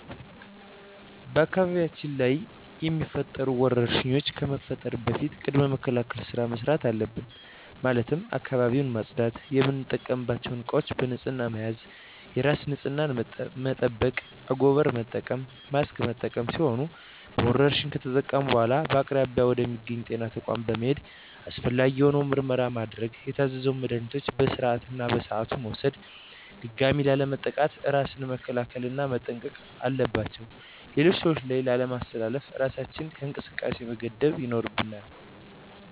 በአካባቢያችን ላይ የሚፈጠሩ ወረርሽኝ ከመፈጠሩ በፊት ቅድመ መከላከል ስራ መስራት አለብን ማለትም አካባቢውን ማፅዳት፣ የምንጠቀምባቸው እቃዎች በንህፅና መያዝ፣ የራስን ንፅህና መጠበቅ፣ አንጎበር መጠቀም፣ ማስክ መጠቀም ሲሆኑ በወረርሽኙ ከተጠቃን በኃላ በአቅራቢያ ወደ ሚገኝ ወደ ጤና ተቋም በመሔድ አስፈላጊውን የሆነ ምርመራ ማድረግ የታዘዘውን መድሀኒቶች በስርዓቱ እና በሰዓቱ መውሰድ ድጋሚ ላለመጠቃት እራስን መንከባከብ እና መጠንቀቅ አለባቸው ሌሎች ሰዎች ላይ ላለማስተላለፍ እራሳችንን ከእንቅስቃሴ መገደብ ይኖርብናል።